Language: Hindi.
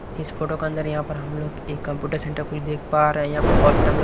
इस फोटो के अंदर यहां पर हम लोग एक कंप्यूटर सेंटर कुछ देख पा रहे हैं यहां पर बहुत सारे हम लोग --